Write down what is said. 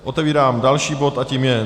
Otevírám další bod a tím je